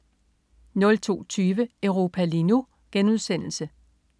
02.20 Europa lige nu*